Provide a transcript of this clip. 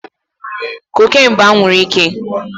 Cocaine bú anwuru ike